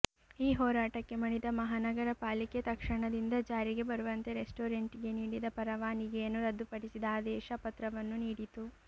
ಈ ಹೋರಾಟಕ್ಕೆ ಮಣಿದ ಮಹಾನಗರ ಪಾಲಿಕೆ ತಕ್ಷಣದಿಂದ ಜಾರಿಗೆ ಬರುವಂತೆ ರೆಸ್ಟೋರೆಂಟ್ಗೆ ನೀಡಿದ ಪರವಾನಿಗೆಯನ್ನು ರದ್ದುಪಡಿಸಿದ ಆದೇಶ ಪತ್ರವನ್ನು ನೀಡಿತು